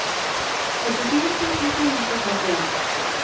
åttifire tusen to hundre og trettien